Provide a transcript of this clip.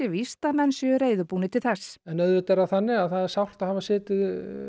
víst að menn séu reiðubúnir til þess en auðvitað er það þannig að það er sárt að hafa setið